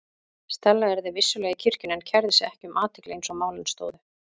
Stella yrði vissulega í kirkjunni en kærði sig ekki um athygli eins og málin stóðu.